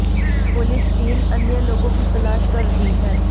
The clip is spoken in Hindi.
पुलिस तीन अन्य लोगों की तलाश कर रही है